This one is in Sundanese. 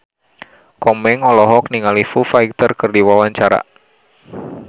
Komeng olohok ningali Foo Fighter keur diwawancara